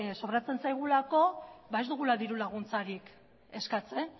sobratzen zaigulako ba ez dugula dirulaguntzarik eskatzen